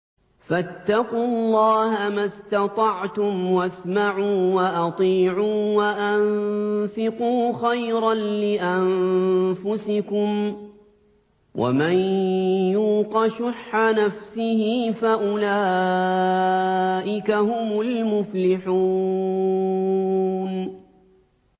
فَاتَّقُوا اللَّهَ مَا اسْتَطَعْتُمْ وَاسْمَعُوا وَأَطِيعُوا وَأَنفِقُوا خَيْرًا لِّأَنفُسِكُمْ ۗ وَمَن يُوقَ شُحَّ نَفْسِهِ فَأُولَٰئِكَ هُمُ الْمُفْلِحُونَ